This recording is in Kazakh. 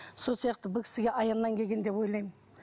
сол сияқты бұл кісіге аяннан келген деп ойлаймын